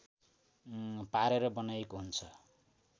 पारेर बनाइएको हुन्छ